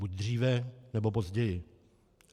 Buď dříve, nebo později.